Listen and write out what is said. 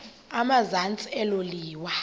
emazantsi elo liwa